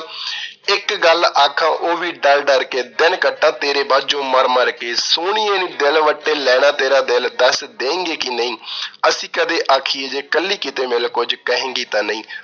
ਇੱਕ ਗੱਲ ਆਖਾਂ ਉਹ ਵੀ ਡਰ ਡਰ ਕੇ, ਦਿਨ ਕੱਟਾਾਂ ਤੇਰੇ ਵਾਂਝੋ ਮਰ ਮਰ ਕੇ, ਸੋਹਣੀਏ ਦਿਲ ਵੱਟੇ ਲੈਣਾ ਤੇਰਾ ਦਿਲ, ਦੱਸ ਦੇਈਗੀ ਕੇ ਨਈ, ਅਸੀਂ ਕਦੇ ਆਖੀਏ ਜੇ ਕੱਲੀ ਕਿਤੇ ਮਿਲ, ਕੁਝ ਕਹੇਗੀ ਤਾਂ ਨਈਂ।